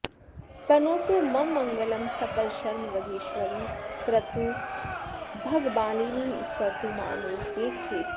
तनोतु मम मङ्गलं सकलशर्म वज्रेश्वरी करोतु भगमालिनी स्फुरतु मामके चेतसि